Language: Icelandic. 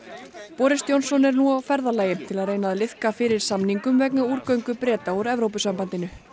boris Johnson er nú á ferðalagi til að reyna að liðka fyrir samningum vegna Breta úr Evrópusambandinu